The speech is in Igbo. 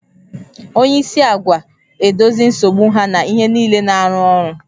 Onye isi agwa edozi nsogbu ha na ihe niile na-arụ ọrụ